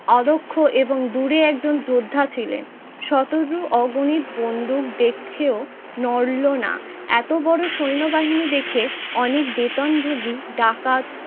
আরোক্ষ এবং দূরে একজন যোদ্ধা ছিলেন। শতজ অগণিত বন্দুক দেখেও নড়লো না এতো বড়ো সৈন্যবাহিনী দেখে অনেক বেতনভূগী ডাকাত